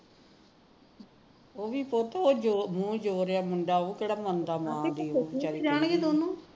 ਉਹ ਵੀ ਪੁਤ loose ਹੋ ਰਿਹਾ ਮੁੰਡਾ ਉਹ ਕਿਹੜਾ ਮੰਨਦਾ ਮਾਂ ਦੀ